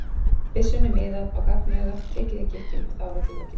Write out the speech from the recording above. byssunni miðað á gagnaugað, tekið í gikkinn, og þá er öllu lokið.